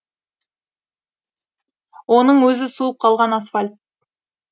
оның өзі суып қалған асфальт